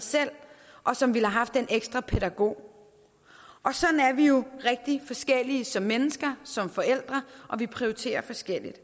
og som ville have haft den ekstra pædagog og sådan er vi jo rigtig forskellige som mennesker som forældre og vi prioriterer forskelligt